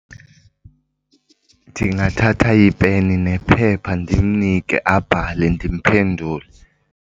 Ndingathatha ipeni nephepha ndimnike abhale, ndimphendule.